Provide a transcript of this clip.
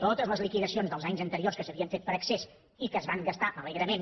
totes les liquidacions dels anys anteriors que s’havien fet per excés i que es van gastar alegrement